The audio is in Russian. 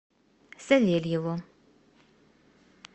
савельеву